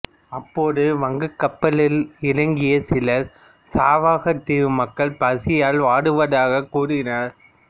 அப்போது வங்கக்கப்பலிலிருந்து இறங்கிய சிலர் சாவகத் தீவு மக்கள் பசியால் வாடுவதாக்க் கூறினர்